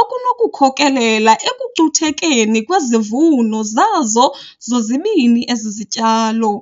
okunokukhokelela ekucuthekeni kwezivuno zazo zozibini ezi zityalo.